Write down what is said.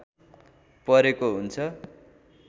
परेको हुन्छ